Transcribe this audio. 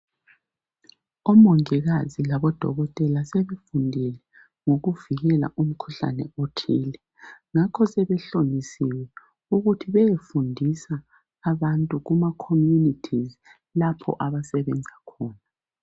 Omongikazi labodokotela sebefundile ngokuvikela umkhuhlane othile. Ngakho sebehlonyisiwe ukuthi beyefundisa abantu kuma khomunithizi lapho abasebenza khona .